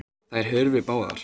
Þær hurfu báðar.